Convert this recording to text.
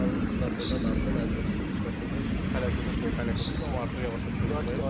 transferdən danışanda mən çox işlətdiyim söz hələ qızışmayıb, hələ qızışmayıb, amma artıq yavaş-yavaş qızışır.